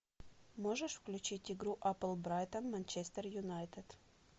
можешь включить игру апл брайтон манчестер юнайтед